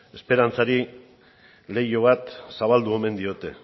esperantzari leiho bat zabaldu omen diote